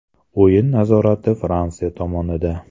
O‘yin nazorati Fransiya tomonida.